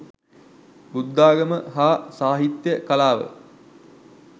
බුද්ධාගම හා සාහිත්‍ය කලාව